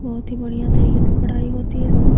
बहुत ही बढ़ियां तरीके से पढ़ायी होती है इसमें।